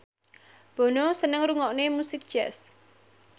Bono seneng ngrungokne musik jazz